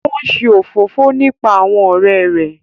O n ṣe òfófó nípa àwọn ọrẹ rẹ